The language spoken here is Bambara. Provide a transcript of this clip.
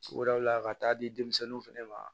wɛrɛw la ka taa di denmisɛnninw fɛnɛ ma